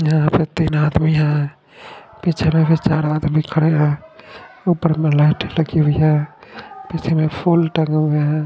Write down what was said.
यहा प र तीन आदमी है पीछे में कुछ चल रहा तो ये खडे है उपर में लाइटे लगी हुई है पीछे में फुल टंगे हुए है।